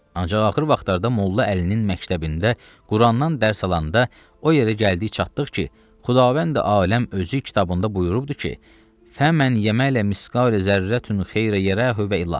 Ancaq axır vaxtlarda Molla Əlinin məktəbində Qurandan dərs alanda o yerə gəlib çatdıq ki, Xudavəndi aləm özü kitabında buyurubdur ki, "Fəmmən yəmələ misqa zərrəti xeyrə yərahu və ilax."